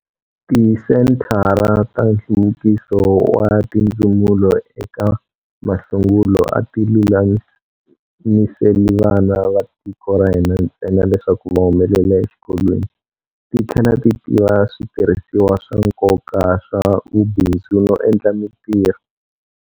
Tisenthara ta nhluvukiso wa tindzumulo eka masungulo a ti lulamiseli vana va tiko ra hina ntsena leswaku va humelela exikolweni, ti tlhela tiva switirhisiwa swa nkoka swa vubindzu no endla mitirho.